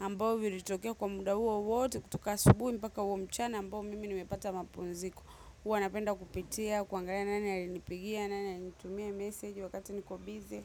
ambao viritokea kwa muda huo wote kutoka asubuhi mpaka huo mchana ambao mimi nimepata mapumziko. Huwa napenda kupitia, kuangalia nani alinipigia, nani alinitumia meseji wakati niko bize.